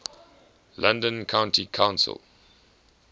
london county council